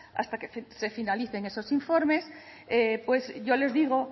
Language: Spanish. hasta que se finalicen esos informes pues yo les digo